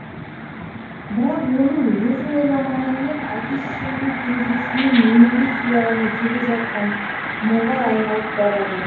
бірақ оның өзі ойламағанмен әке шешенің кенжесінен немере сүйе алмай келе жатқаны мұңға айналып барады